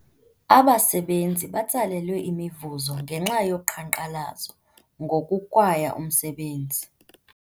Abasebenzi batsalelwe imivuzo ngenxa yoqhankqalazo ngokukwaya umsebenzi.